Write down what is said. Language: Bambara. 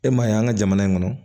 E ma ye an ka jamana in kɔnɔ